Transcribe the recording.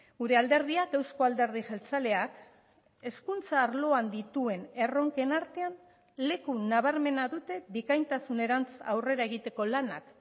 gure alderdiak euzko alderdi jeltzaleak hezkuntza arloan dituen erronken artean leku nabarmena dute bikaintasunerantz aurrera egiteko lanak